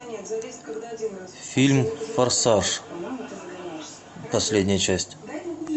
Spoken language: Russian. фильм форсаж последняя часть